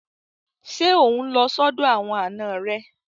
Ṣé ò ń lọ sọ́dọ̀ àwọn àna rẹ?